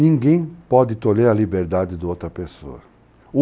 Ninguém pode tolher a liberdade da outra pessoa.